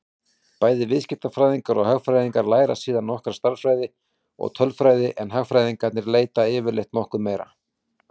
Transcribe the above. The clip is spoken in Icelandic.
Bæði viðskiptafræðingar og hagfræðingar læra síðan nokkra stærðfræði og tölfræði en hagfræðingarnir yfirleitt nokkuð meira.